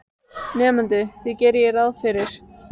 Arinbjörn, hvað er opið lengi í Háskólanum í Reykjavík?